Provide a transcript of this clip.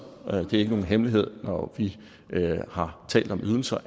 er det ikke nogen hemmelighed at vi når vi har talt om ydelser